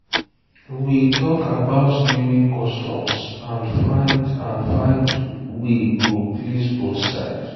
we talk about naming customs and find and find way wey go please both side.